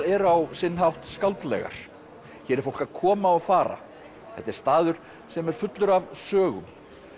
eru á sinn hátt skáldlegar hér er fólk að koma og fara þetta er staður sem er fullur af sögum